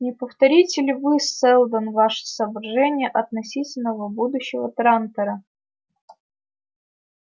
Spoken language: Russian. не повторите ли вы сэлдон ваши соображения относительно будущего трантора